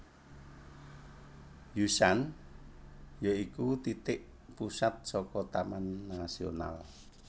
Yushan ya iku titik pusat saka Taman Nasional